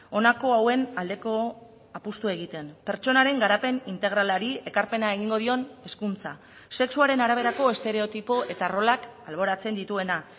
honako hauen aldeko apustua egiten pertsonaren garapen integralari ekarpena egingo dion hezkuntza sexuaren araberako estereotipo eta rolak alboratzen dituena